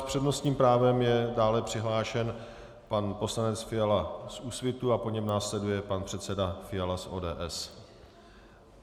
S přednostním právem je dále přihlášen pan poslanec Fiala z Úsvitu a po něm následuje pan předseda Fiala z ODS.